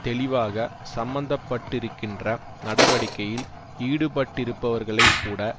தெளிவாக சம்மந்தப்பட்டிருக்கின்ற நடவடிக்கையில் ஈடுபட்டிருப்பவர்களை கூட